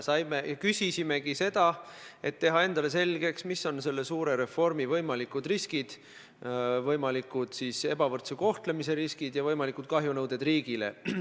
Me küsisime seda, et teha endale selgeks, mis on selle suure reformi võimalikud riskid, võimaliku ebavõrdse kohtlemise riskid ja võimalikud kahjunõuded riigile.